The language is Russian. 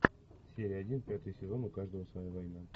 серия один пятый сезон у каждого своя война